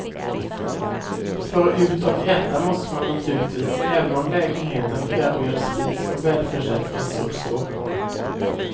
För ut och äta måste man naturligtvis, även om lägenheten erbjöd spis och välförsett kastrullskåp.